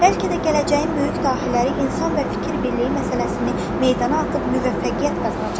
Bəlkə də gələcəyin böyük dahilləri insan və fikir birliyi məsələsini meydana atıb müvəffəqiyyət qazanacaqdır.